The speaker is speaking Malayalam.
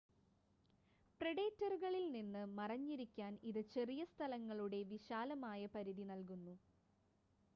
പ്രെഡേറ്ററുകളിൽ നിന്ന് മറഞ്ഞിരിക്കാൻ ഇത് ചെറിയ സ്ഥലങ്ങളുടെ വിശാലമായ പരിധി നൽകുന്നു